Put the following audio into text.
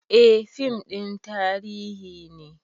Eh fim ɗin tarihi ne